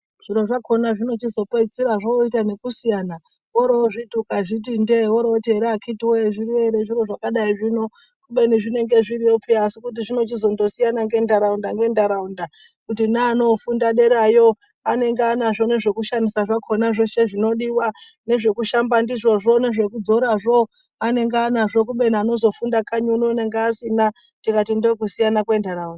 Zviro zvakona zvinochizopedzisira ngekusiyana, orozviti ukazviti ndee, woorit akiti woye zviriyo ere zviro zvakadai zvino kubeni zvinonga zviriyo peya asi kuti zvinondochizosiyana ngenharaunda ngenharaunda kuti naanonofunda derayo anenge anazvo nezveku shandisa zvakona zveshe zvinodiwa ,nezvekushamba zvo nezvekudzora zvo anenge anazvo kubeni anonga anozofunda kanyi uno anonga asina tikati ndokusiyana kwenharaunda.